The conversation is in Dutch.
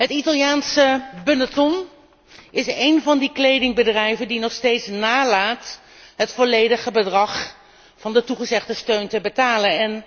Het Italiaanse Benetton is een van die kledingbedrijven die nog steeds nalaten het volledige bedrag van de toegezegde steun te betalen.